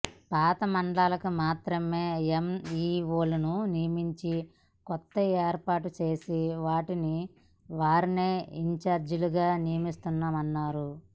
పాత మండలాలకు మాత్రమే యంఇఓలను నియమించి కొత్తగా ఏర్పాటు చేసిన వాటిని వారినే ఇంచార్జీలుగా నియమించామన్నారు